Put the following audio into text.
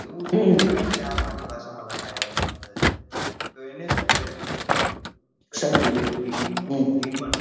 એવું શું દેખાડીસ કે આ મારી ભાષા માં લખાયેલો શબ્દ છે તો એને શું કર્યું કે પેલુ ribon નું રિબન,